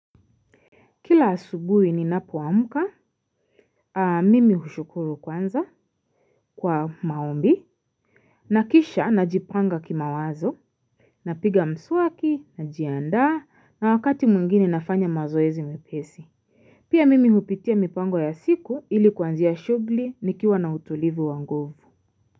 Kila asubui ninapoamka, mimi hushukuru kwanza kwa maombi, na kisha najipanga kimawazo, napiga mswaki, najiandaa, na wakati mwingini nafanya mazoezi mepesi. Pia mimi hupitia mipango ya siku ili kuanzia shughli nikiwa na utulivu wa nguvu.